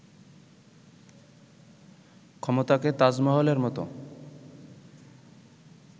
ক্ষমতাকে 'তাজমহল'-এর মতো